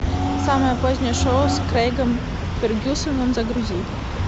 самое позднее шоу с крейгом фергюсоном загрузи